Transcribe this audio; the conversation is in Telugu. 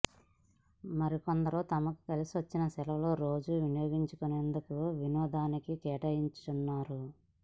మరికొందరు తమకు కలిసి వచ్చిన సెలవు రోజును వినియోగించుకునేందుకు వినోదానికి కేటాయించుకున్నారు